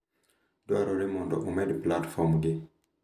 Dwarore mondo omed platform gi